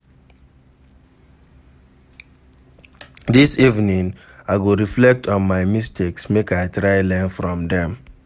Dis evening, I go reflect on my mistakes make I try learn from dem.